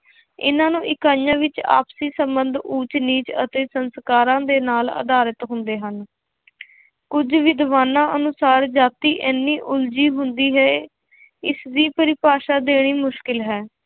ਇਹਨਾਂ ਨੂੰ ਇਕਾਈਆਂਂ ਵਿੱਚ ਆਪਸੀ ਸੰਬੰਧ ਊਚ ਨੀਚ ਅਤੇ ਸੰਸਕਾਰਾਂ ਦੇ ਨਾਲ ਅਧਾਰਿਤ ਹੁੰਦੇ ਹਨ ਕੁੱਝ ਵਿਦਵਾਨਾਂ ਅਨੁਸਾਰ ਜਾਤੀ ਇੰਨੀ ਉਲਝੀ ਹੁੰਦੀ ਹੈ, ਇਸ ਦੀ ਪਰਿਭਾਸ਼ਾ ਦੇਣੀ ਮੁਸ਼ਕਿਲ ਹੈ।